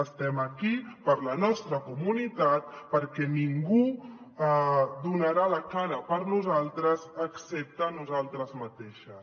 estem aquí per la nostra comunitat perquè ningú donarà la cara per nosaltres excepte nosaltres mateixes